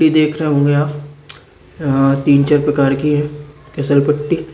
ये देख रहे होंगे आप अ तीन चार प्रकार की है किसल पट्टी।